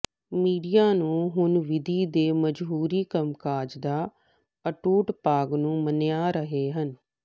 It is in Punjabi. ਮੀਡੀਆ ਨੂੰ ਹੁਣ ਵਿਧੀ ਦੇ ਜਮਹੂਰੀ ਕੰਮਕਾਜ ਦਾ ਅਟੁੱਟ ਭਾਗ ਨੂੰ ਮੰਨਿਆ ਰਹੇ ਹਨ